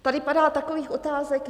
Tady padá takových otázek.